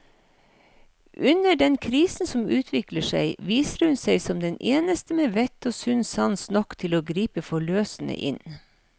Under den krisen som utvikler seg, viser hun seg som den eneste med vett og sunn sans nok til å gripe forløsende inn.